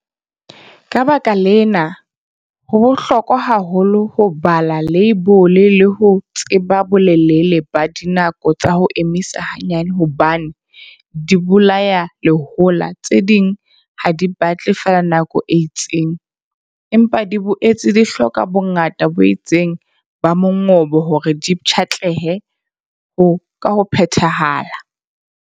Ka baka lena, ho bohlokwa haholo ho bala leibole le ho tseba bolelele ba dinako tsa ho emisa hanyane hobane dibolayalehola tse ding ha di batle feela nako e itseng, empa di boetse di hloka bongata bo itseng ba mongobo hore di pshatlehe ka ho phethahala.